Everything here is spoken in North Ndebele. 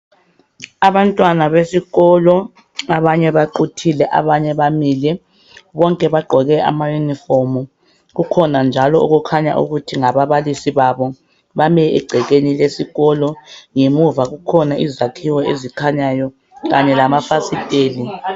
Abantwana besikolo abanye baquthile abanye bamile bonke bagqoke ama uniform kukhona njalo okukhanya ukuthi ngababalisi babo bame egcekeni lesikolo ngemuva kukhona izakhiwo ezikhanyayo kanye lama fasiteli.